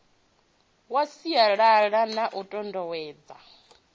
ya sialala na u tutuwedza